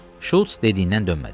Şulz dediyindən dönmədi.